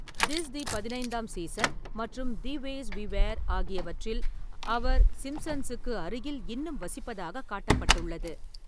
"This the பதினைந்தாம் season" மற்றும் "the ways we were" ஆகியவற்றில் அவர் சிம்ப்சன்ஸுக்கு அருகில் இன்னும் வசிப்பதாகக் காட்டப்பட்டுள்ளது.